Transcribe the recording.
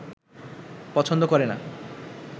পছন্দ করে না